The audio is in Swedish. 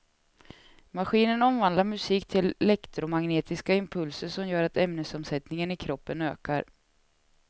Maskinen omvandlar musik till elektromagnetiska impulser som gör att ämnesomsättningen i kroppen ökar.